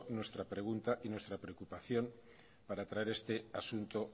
nuestra pregunta y nuestra preocupación para traer este asunto